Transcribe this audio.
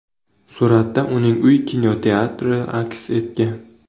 Suratda uning uy kinoteatri aks etgan.